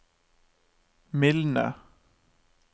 mildne